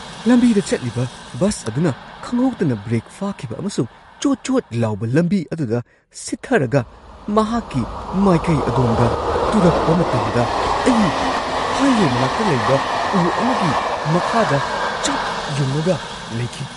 ꯂꯝꯕꯤꯗ ꯆꯠꯂꯤꯕ ꯕꯁ ꯑꯗꯨꯅ ꯈꯪꯍꯧꯗꯅ ꯕ꯭ꯔꯦꯛ ꯐꯥꯈꯤꯕ ꯑꯃꯁꯨꯡ ꯆꯣꯠ-ꯆꯣꯠ ꯂꯥꯎꯕ ꯂꯝꯕꯤ ꯑꯗꯨꯗ ꯁꯤꯊꯊꯔꯒ ꯃꯍꯥꯛꯀꯤ ꯃꯥꯏꯀꯩ ꯑꯗꯣꯝꯗ ꯇꯨꯔꯛꯄ ꯃꯇꯝꯗ ꯑꯩ ꯍꯥꯏꯋꯦ ꯃꯅꯥꯛꯇ ꯂꯩꯕ ꯎ ꯑꯃꯒꯤ ꯃꯈꯥꯗ ꯆꯞ ꯌꯨꯡꯉꯒ ꯂꯩꯈꯤ ꯫